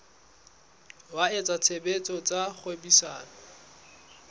wa etsa tshebetso tsa kgwebisano